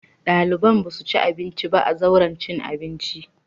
Ɗaliban za su ci abinci a zauren cin abinci.